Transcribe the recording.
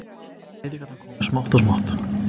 Breytingarnar komu smátt og smátt.